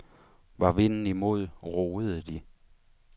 Var vinden imod, roede de.